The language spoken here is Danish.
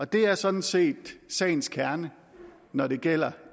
det er sådan set sagens kerne når det gælder